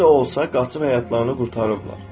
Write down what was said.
Necə olsa qaçıb həyatlarını qurtarıblar.